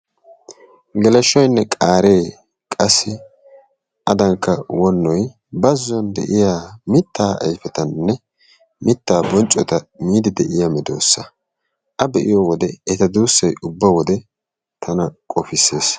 geleshoynne qaaree qassi adanikka wonnoy baazzuwaa de'iyaa mittaa ayfettanne mittaa bonccotta miidi de'iyaa meedoosa. A be'iyoode eta duussay ubba wode tana qopissees.